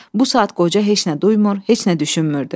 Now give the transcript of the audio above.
Bu saat qoca heç nə duymur, heç nə düşünmürdü.